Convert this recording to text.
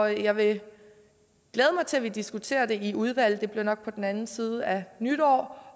jeg vil glæde mig til at vi diskuterer i udvalget det bliver nok på den anden side af nytår